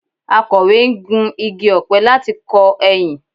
Akọ̀we ń gu igi ọ̀pẹ láti kọ ẹyìn